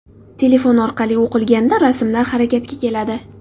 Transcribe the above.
Telefon orqali o‘qilganda rasmlar harakatga keladi.